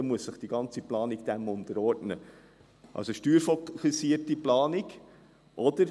Dann muss sich die ganze Planung dem unterordnen – steuerfokussierte Planung also.